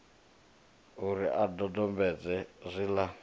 u ri a dodombedze zwiḽa